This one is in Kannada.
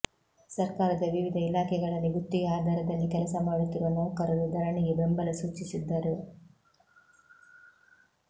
ಸರ್ಕಾರದ ವಿವಿಧ ಇಲಾಖೆಗಳಲ್ಲಿ ಗುತ್ತಿಗೆ ಆಧಾರದಲ್ಲಿ ಕೆಲಸ ಮಾಡುತ್ತಿರುವ ನೌಕರರು ಧರಣಿಗೆ ಬೆಂಬಲ ಸೂಚಿಸಿದ್ದರು